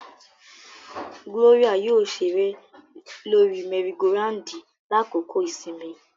Gloria yoo ṣere lori mẹri-go-randi lakoko isinmi.